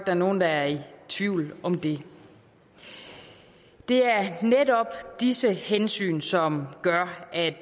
er nogen der er i tvivl om det det er netop disse hensyn som gør at